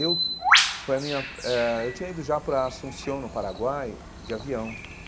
Eu foi a minha eh eu tinha ido já para Asunción, no Paraguai, de avião.